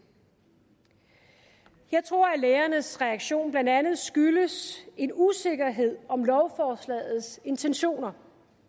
jeg tror at lægernes reaktion blandt andet skyldes en usikkerhed om lovforslagets intentioner